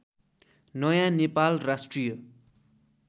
नयाँ नेपाल राष्ट्रिय